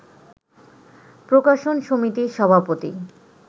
প্রকাশন সমিতির সভাপতি